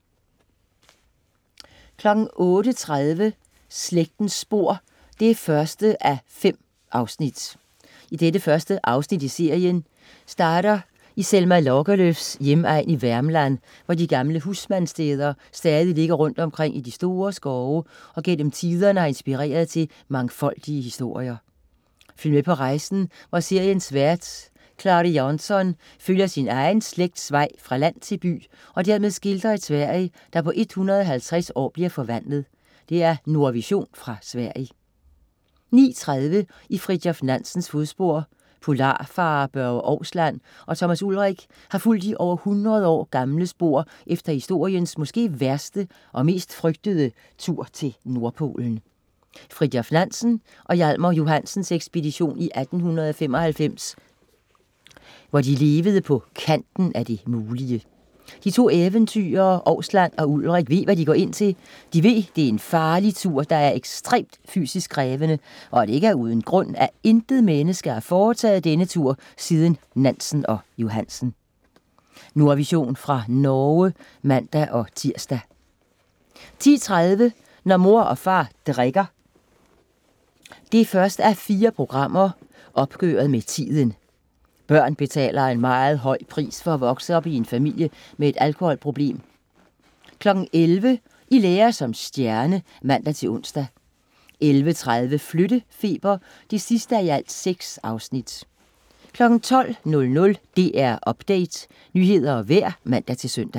08.30 Slægtens spor 1:5 Det første afsnit i serien starter i Selma Lagerlöfs hjemegn i Värmland, hvor de gamle husmandssteder stadig ligger rundt omkring i de store skove og gennem tiderne har inspireret til mangfoldige historier. Følg med på rejsen hvor seriens vært Clary Jansson følger sin egen slægts vej fra land til by og dermed skildrer et Sverige, der på 150 år bliver forvandlet. Nordvision fra Sverige 09.30 I Fridtjof Nansens fodspor. Polarfarer Børge Ousland og Thomas Ulrich har fulgt de over hundrede år gamle spor efter historiens måske værste og mest frygtede tur til Nordpolen: Fridtjof Nansen og Hjalmar Johansens ekspedition i 1895, hvor de levede på kanten af det mulige. De to eventyrere Ousland og Ulrich ved hvad de går ind til, de ved at det er en farlig tur, der er ekstremt fysisk krævende, og at det ikke er uden grund, at intet menneske har foretaget denne tur siden Nansen og Johansen. Nordvision fra Norge (man-tirs) 10.30 Når mor og far drikker. 1:4. Opgøret med tiden. Børn betaler en meget høj pris for at vokse op i en familie med et alkoholproblem 11.00 I lære som stjerne (man-ons) 11.30 Flyttefeber 6:6 12.00 DR Update. Nyheder og vejr (man-søn)